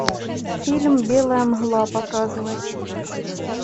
фильм белая мгла показывай